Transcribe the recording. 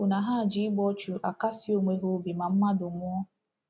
Ya bụ na ha ji igbu ọchụ akasi onwe ha obi ma mmadụ nwụọ.